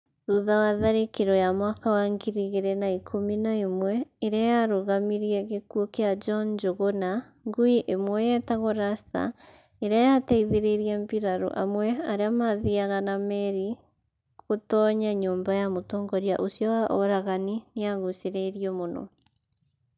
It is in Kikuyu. Thutha wa tharĩkĩro ya mwaka wa ngiri igĩrĩ na ikũmi na ĩmwe ĩrĩa yarũgamirie gĩkuũ kĩa john njuguna, ngui ĩmwe yetagwo Rasta, ĩrĩa yaateithirie mbiraru amwe arĩa maathiaga na meri gũtoonya nyũmba ya mũtongoria ũcio wa oragani, nĩyagucĩrĩirio mũno.